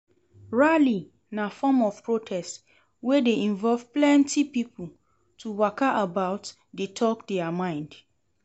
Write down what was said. Rally na form of protest wey de involve plenty pipo to waka about de talk their mind